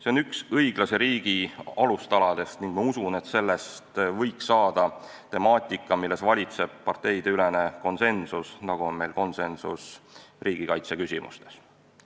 See on üks õiglase riigi alustaladest ning ma usun, et sellest võiks saada temaatika, milles valitseb parteide konsensus, nagu on meil konsensus riigikaitse küsimustes.